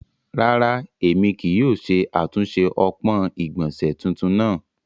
Ràrà, emi kìí yóò ṣe atunṣe ọpọn igbọnse tuntun naa.